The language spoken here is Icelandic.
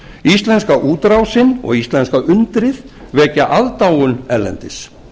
íslenska útrásin og íslenska undrið vekja aðdáun erlendis